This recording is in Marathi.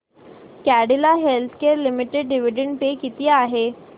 Cadila healthcare limited dividend pay किती आहे